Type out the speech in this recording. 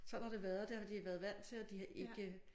Sådan har det været det har de været vant til og de har ikke